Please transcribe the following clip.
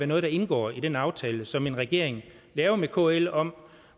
noget der indgår i den aftale som en regering laver med kl om